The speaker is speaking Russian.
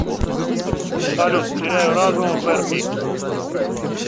салют теряю разум верби